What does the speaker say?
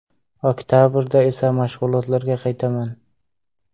Oktabrda esa mashg‘ulotlarga qaytaman.